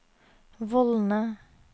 vollene